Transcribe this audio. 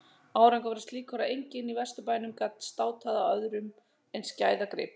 Árangurinn var slíkur að enginn í Vesturbænum gat státað af öðrum eins gæðagrip.